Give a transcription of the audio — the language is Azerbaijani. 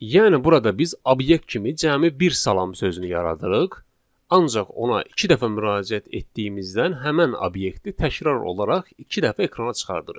Yəni burada biz obyekt kimi cəmi bir salam sözünü yaradırıq, ancaq ona iki dəfə müraciət etdiyimizdən həmin obyekti təkrar olaraq iki dəfə ekrana çıxardırıq.